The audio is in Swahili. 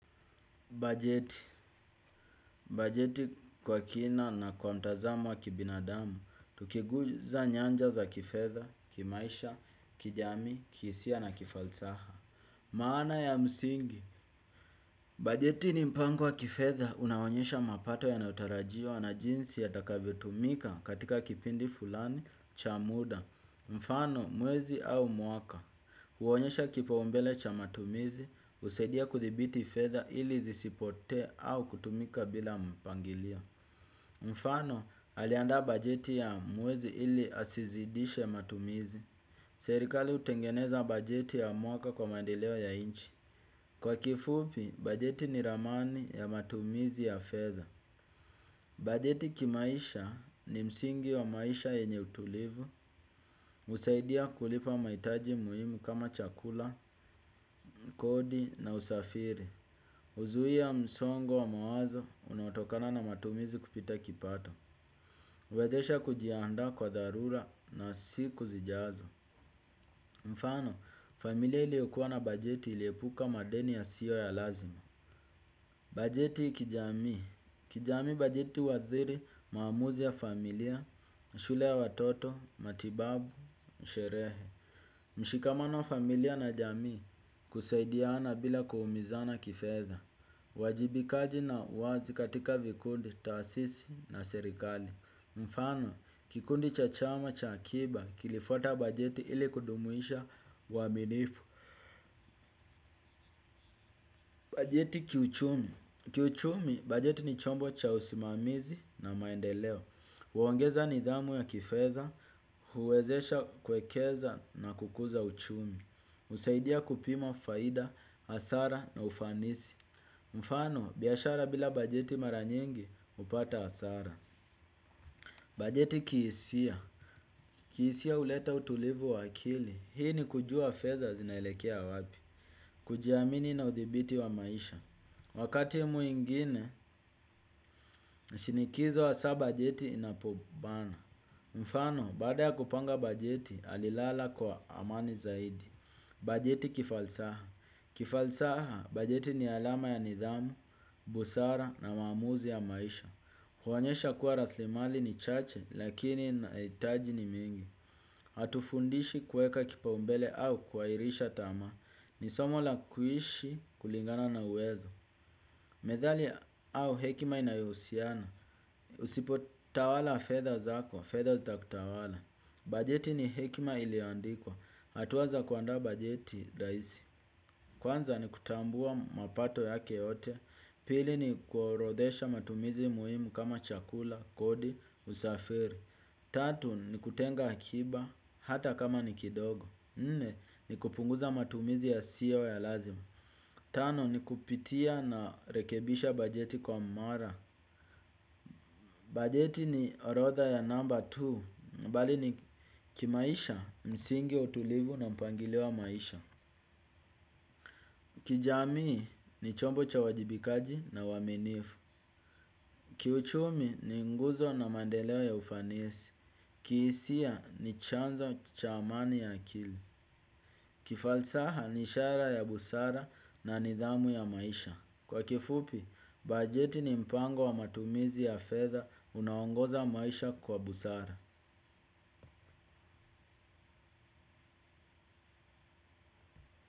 Bajeti. Bajeti kwa kina na kwa mtazamo wa kibinadamu. Tukiguza nyanja za kifedha, kimaisha, kijamii, kihisia na kifalsaha. Maana ya msingi. Bajeti ni mpango wa kifetha. Unaonyesha mapato yanaotarajiwa na jinsi yatakavyo tumika katika kipindi fulani cha muda. Mfano mwezi au mwaka huonyesha kipa umbele cha matumizi usaidia kuthibiti fedha ili zisipote au kutumika bila mpangilio. Mfano aliandaa bajeti ya mwezi ili asizidishe matumizi. Serikali utengeneza bajeti ya mwaka kwa maendeleo ya nchi. Kwa kifupi bajeti ni ramani ya matumizi ya fedha. Bajeti kimaisha ni msingi wa maisha yenye utulivu. Usaidia kulipa maitaji muhimu kama chakula, kodi na usafiri. Uzui ya msongo wa mawazo unaotokana na matumizi kupita kipato. Uwezesha kujiandaa kwa dharura na siku zijazo. Mfano, familia iliokuwa na bajeti iliepuka madeni yasio ya lazima. Bajeti kijami. Kijami bajeti uwaathiri, maamuzi ya familia, shule ya watoto, matibabu, sherehe. Mshikamano wa familia na jamii kusaidiana bila kuumizana kifedha. Wajibikaji na wazi katika vikundi, taasisi na serikali. Mfano, kikundi cha chama, cha akiba, kilifuata bajeti ili kudumuisha uwaminifu. Bajeti kiuchumi. Kiuchumi, bajeti ni chombo cha usimamizi na maendeleo. Huongeza nidhamu ya kifedha, huwezesha kuwekeza na kukuza uchumi. Usaidia kupima faida, hasara na ufanisi. Mfano, biashara bila bajeti maranyingi, upata hasara. Bajeti kihisia. Kihisia uleta utulivu wa akili. Hii ni kujua fedha zinaelekea wapi. Kujiamini na uthibiti wa maisha. Wakati mwingine, shinikizo hasaa bajeti inapobana. Mfano, baada ya kupanga bajeti, alilala kwa amani zaidi. Bajeti kifalsaha. Kifalsaha, bajeti ni alama ya nidhamu, busara na maamuzi ya maisha. Huonyesha kuwa raslimali ni chache, lakini maitaji ni mingi. Hatufundishi kueka kipa umbele au kuairisha tamaa. Ni somo la kuishi kulingana na uwezo. Medhali au hekima inayohusiana. Usipo tawala fedha zako. Fedha zitakutawala. Bajeti ni hekima iliandikwa. Hatua za kuandaa bajeti rahisi. Kwanza ni kutambua mapato yake yote. Pili ni kuorodesha matumizi muhimu kama chakula, kodi, usafiri. Tatu ni kutenga akiba hata kama nikidogo. Nne ni kupunguza matumizi yasiyo ya lazima. Tano ni kupitia narekebisha bajeti kwa mara. Bajeti ni orodha ya namba tu mbali ni kimaisha msingi ya utulivu na mpangilio wa maisha. Kijamii ni chombo cha uwajibikaji na uwaminifu. Kiuchumi ni nguzo na maendeleo ya ufanisi. Kihisia ni chanzo cha amani ya akili. Kifalsaha ni ishara ya busara na nidhamu ya maisha. Kwa kifupi, bajeti ni mpango wa matumizi ya fedha unao ongoza maisha kwa busara.